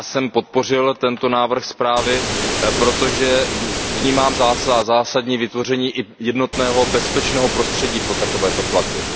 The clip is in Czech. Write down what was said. Já jsem podpořil tento návrh zprávy, protože vnímám zásadní význam vytvoření jednotného bezpečného prostředí pro takovéto platby.